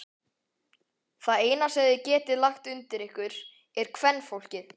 Það eina sem þið getið lagt undir ykkur er kvenfólkið!